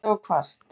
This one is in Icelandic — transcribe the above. Slydda og hvasst